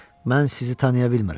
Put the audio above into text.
Mən sizi tanıya bilmirəm.